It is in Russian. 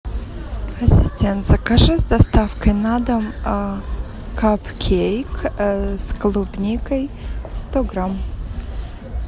ассистент закажи с доставкой на дом капкейк с клубникой сто грамм